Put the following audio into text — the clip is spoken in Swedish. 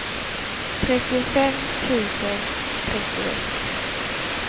trettiofem tusen trettioett